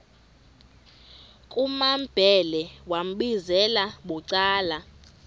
kumambhele wambizela bucala